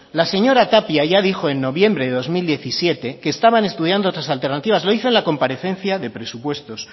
la señora tapia ya dijo en noviembre de dos mil diecisiete que estaban estudiando otras alternativas lo hizo en la comparecencia de presupuestos